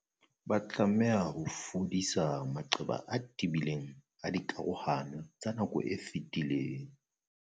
Ba tlameha ho fodisa maqeba a tebileng a dikarohano tsa nako e fetileng.